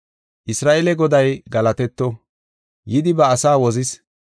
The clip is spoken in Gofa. “Isra7eele Goday galatetto, yidi ba asaa wozis.